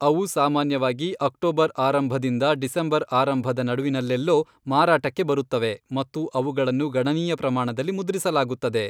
ಅವು ಸಾಮಾನ್ಯವಾಗಿ ಅಕ್ಟೋಬರ್ ಆರಂಭದಿಂದ ಡಿಸೆಂಬರ್ ಆರಂಭದ ನಡುವಿನಲ್ಲೆಲ್ಲೋ ಮಾರಾಟಕ್ಕೆ ಬರುತ್ತವೆ ಮತ್ತು ಅವುಗಳನ್ನು ಗಣನೀಯ ಪ್ರಮಾಣಗಳಲ್ಲಿ ಮುದ್ರಿಸಲಾಗುತ್ತದೆ.